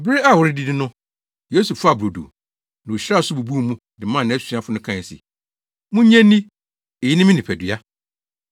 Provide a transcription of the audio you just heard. Bere a wɔredidi no. Yesu faa brodo, na ohyiraa so bubuu mu, de maa nʼasuafo no kae se: “Munnye nni, eyi ne me nipadua.”